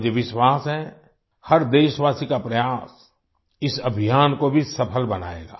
मुझे विश्वास है हर देशवासी का प्रयास इस अभियान को भी सफल बनाएगा